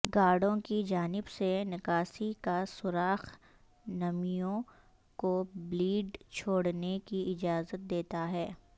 گارڈوں کی جانب سے نکاسی کا سوراخ نمیوں کو بلیڈ چھوڑنے کی اجازت دیتا ہے